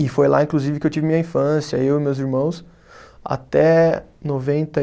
E foi lá, inclusive, que eu tive minha infância, eu e meus irmãos, até noventa e